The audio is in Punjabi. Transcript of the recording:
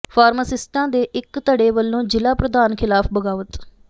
ਫਾਰਮਾਸਿਸਟਾਂ ਦੇ ਇੱਕ ਧੜੇ ਵੱਲੋਂ ਜ਼ਿਲ੍ਹਾ ਪ੍ਰਧਾਨ ਖ਼ਿਲਾਫ਼ ਬਗ਼ਾਵਤ